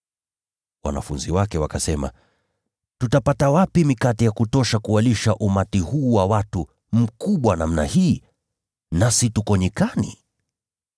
Wanafunzi wake wakasema, “Tutapata wapi mikate ya kutosha kuwalisha umati huu wa watu mkubwa namna hii, nasi tuko nyikani?”